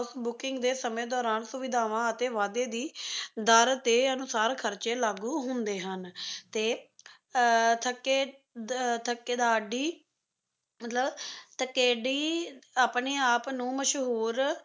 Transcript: booking ਦੇ ਸਮੇਂ ਦੌਰਾਨ ਸੁਵਿਧਾਵਾਂ ਅਤੇ ਵਾਧੇ ਦੀ ਦਰ ਦੇ ਅਨੂਸਾਰ ਖਰਚੇ ਲਾਗੂ ਹੁੰਦੇ ਹਨ ਤੇ ਥੱਕੇ`ਥਕੇਦਾਰਦੀ ਮਤਲਬ ਠਕੇਡੀ ਆਪਣੇ ਆਪ ਨੂੰ ਮਸ਼ਹੂਰ